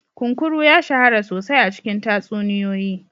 Kunkuru ya shahara sosai a cikin tatsuniyoyi.